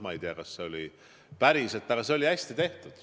Ma ei tea, kas see oli päriselt, aga see oli hästi tehtud.